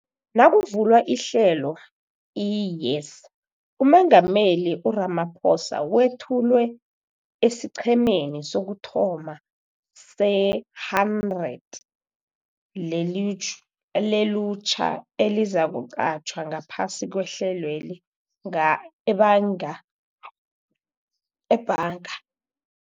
Nakuvulwa iHlelo i-YES, uMengameli u-Ramaphosa wethulwe esiqhemeni sokuthoma se-100 lelutjha elizakuqatjhwa ngaphasi kwehlelweli ebhanga, ebhanga